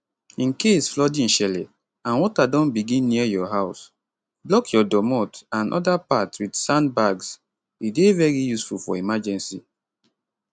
incase flooding shele and water don begin near your house block your domot and oda parts wit sand bags e dey very useful for emergency